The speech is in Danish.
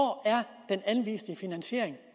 den anviste finansiering